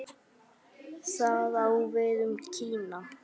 Það á við um Kína.